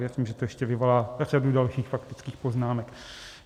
Věřím, že to ještě vyvolá řadu dalších faktických poznámek.